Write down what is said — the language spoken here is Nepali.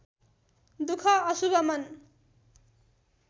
दुख अशुभ मन